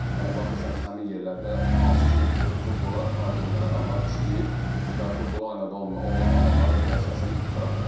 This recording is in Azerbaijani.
Yəni baxırsan ki, həmin yerlərdə hansı ki futbola aid olmayan adamlar işləyir və futbola aid olmayan adamlar da belə desən qıraqda qalır.